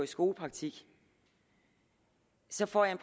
skolepraktik så får jeg